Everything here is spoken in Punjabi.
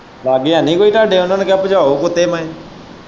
ਲਾਂਗੇ ਹੈਨੀ ਕੋਈ ਤੁਹਾਡੇ ਉਹਨਾਂ ਨੂੰ ਕਹੋ ਭਜਾਓ ਕੁੱਤੇ ਮੈਅ।